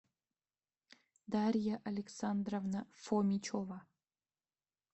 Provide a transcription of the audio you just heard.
дарья александровна фомичева